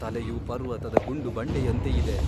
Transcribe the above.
ತಲೆಯು ಪರ್ವತದ ಗುಂಡು ಬಂಡೆಯಂತೆ ಇದೆ.